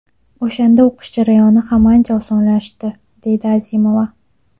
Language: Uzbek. O‘shanda o‘qish jarayoni ham ancha osonlashadi”, deydi Azimova.